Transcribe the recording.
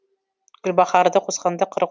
гүлбаһарды қосқанда қырық